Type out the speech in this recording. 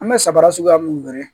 An bɛ sabara suguya mun gɛrɛ